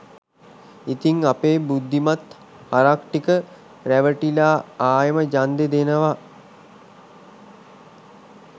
ඉතිං අපේ බුද්ධිමත් හරක් ටික රැවටිලා ආයෙම ඡන්දෙ දෙනව